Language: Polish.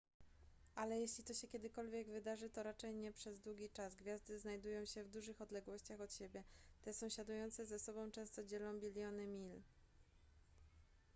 ale jeśli to się kiedykolwiek wydarzy to raczej nie przez długi czas gwiazdy znajdują się w dużych odległościach od siebie te sąsiadujące ze sobą często dzielą biliony mil